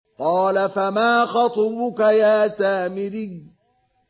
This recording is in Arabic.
قَالَ فَمَا خَطْبُكَ يَا سَامِرِيُّ